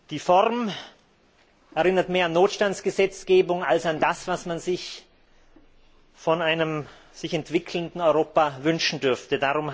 Die Form erinnert mehr an Notstandsgesetzgebung als an das, was man sich von einem sich entwickelnden Europa wünschen dürfte.